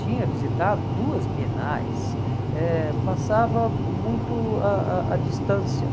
Tinha visitado duas bienais, eh passava muito a a à distância,